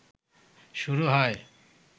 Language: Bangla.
শুরু হয়